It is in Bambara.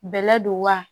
Bɛlɛ don wa